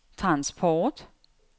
transport